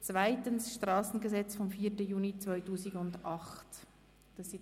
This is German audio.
2. Strassengesetz vom 04.06.2008 (SG)».